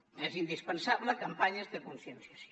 són indispensables campanyes de conscienciació